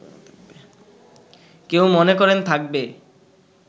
কেউ মনে করেন থাকবে